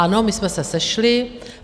Ano, my jsme se sešli.